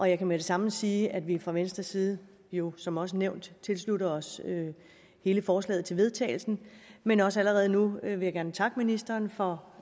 jeg kan med det samme sige at vi fra venstres side jo som også nævnt tilslutter os hele forslaget til vedtagelse men også allerede nu vil jeg gerne takke ministeren for